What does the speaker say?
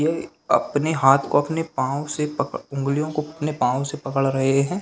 ये अपने हाथ को अपने पाओ से पा उंगलीओ को अपने पाओ से पकड़ रहे है।